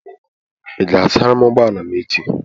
Ị ga-asara m ụgbọ ala m echi?